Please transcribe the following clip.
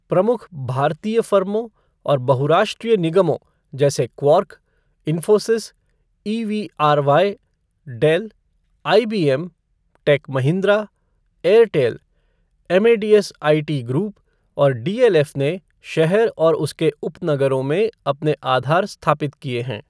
प्रमुख भारतीय फ़र्मों और बहुराष्ट्रीय निगमों जैसे Quark, Infosys, EVRY, Dell, IBM, Tech Mahindra, Airtel, Amadeus IT group और डीएलएफ़ ने शहर और इसके उपनगरों में अपने आधार स्थापित किए हैं।